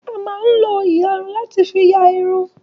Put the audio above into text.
A má ń lo ìlarun láti fi la Irun.